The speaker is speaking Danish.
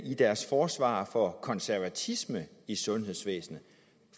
i deres forsvar for konservatisme i sundhedsvæsenet